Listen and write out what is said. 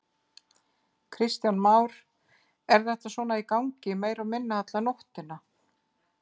Kristján Már: Er þetta svo í gangi meira og minna alla nóttina?